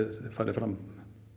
farið fram